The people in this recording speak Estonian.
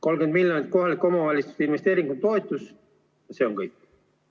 30 miljonit eurot kohalikele omavalitsustele investeeringutoetuseks – see on kõik.